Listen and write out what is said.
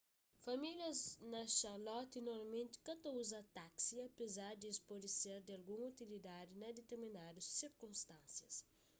famílias na charlotte normalmenti ka ta uza taksi apezar di es pode ser di algun utilidadi na ditirminadu sirkunstánsias